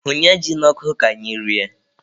Hunye ji n'ọkụ ka anyị rie.